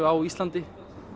á Íslandi